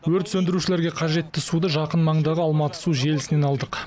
өрт сөндірушілерге қажетті суды жақын маңдағы алматы су желісінен алдық